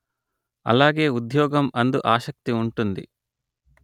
అలాగే ఉద్యోగం అందు ఆసక్తి ఉంటుంది